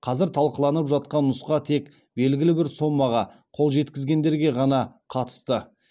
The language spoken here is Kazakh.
қазір талқыланып жатқан нұсқа тек белгілі бір сомаға қол жеткізгендерге ғана қатысты